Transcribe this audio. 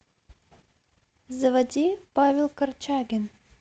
заводи павел корчагин